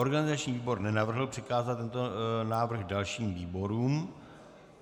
Organizační výbor nenavrhl přikázat tento návrh dalším výborům.